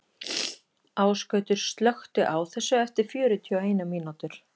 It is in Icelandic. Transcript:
Ásgautur, slökktu á þessu eftir fjörutíu og eina mínútur.